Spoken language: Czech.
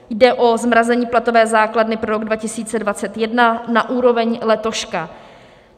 Jde o zmrazení platové základny pro rok 2021 na úroveň letoška.